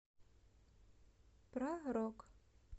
про рок